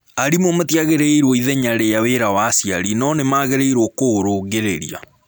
Arimũ matiagĩrĩirũo ithenya rĩa wĩra wa aciari no nĩ magĩrĩirũo kũũrũngĩrĩria.